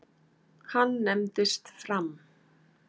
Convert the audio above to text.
Hann nefndist Fram.